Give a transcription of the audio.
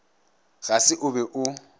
ga se o be o